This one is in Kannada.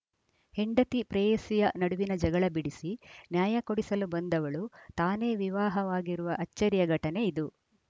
ಹೆಂಡತಿ ಪ್ರೇಯಸಿಯ ನಡುವಿನ ಜಗಳ ಬಿಡಿಸಿ ನ್ಯಾಯ ಕೊಡಿಸಲು ಬಂದವಳು ತಾನೇ ವಿವಾಹವಾಗಿರುವ ಅಚ್ಚರಿಯ ಘಟನೆ ಇದು